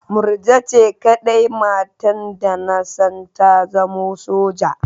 Murja ce kaɗai matar da na san ta zama soja